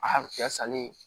A cɛ salen